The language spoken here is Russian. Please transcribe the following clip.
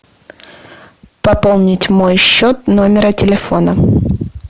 пополнить мой счет номера телефона